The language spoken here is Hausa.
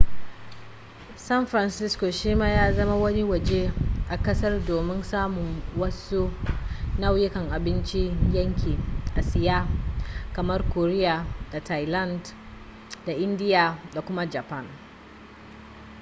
san francisco shi ma ya zama wani waje a kasar domin samun wasu nau'ukan abincin yankin asiya kamar korea da thailand da indiya da kuma japan